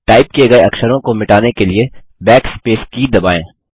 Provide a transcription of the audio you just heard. type किये गये अक्षरों को मिटाने के लिए Backspace की दबाएँ